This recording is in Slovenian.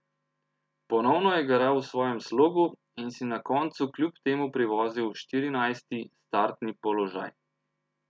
Ponovno je garal v svojem slogu in si na koncu kljub temu privozil štirinajsti startni položaj.